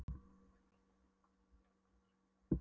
Líkt og Íslendingar stóla Króatar á reynsluna í ár.